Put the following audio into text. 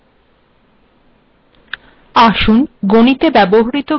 আসুন গিণেত ব্যবহৃত গ্রীক িচহ্নগুিল িদযে় এই আলোচনা শুরু করা যাক